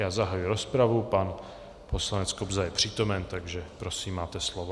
Já zahajuji rozpravu, pan poslanec Kobza je přítomen, takže prosím, máte slovo.